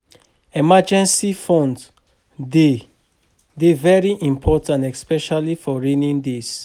Emergency fund de dey very important especially for rainy days